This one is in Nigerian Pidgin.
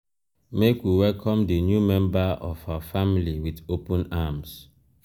make we welcome di new member of our family wit open arms.